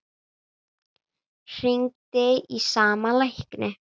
Hringdi í sama lækni